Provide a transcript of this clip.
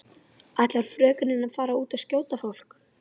Ætlar frökenin að fara út og skjóta fólk?